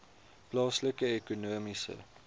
plaaslike ekonomiese